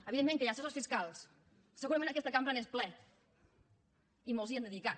evidentment que hi ha assessors fiscals segurament aquesta cambra n’és plena i molts s’hi han dedicat